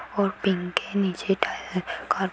और पिंक के नीचे --